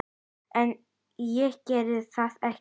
En ég geri það ekki.